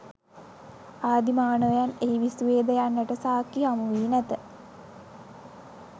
ආදි මානවයන් එහි විසුවේද යන්නට සාක්කි හමුවී නැත.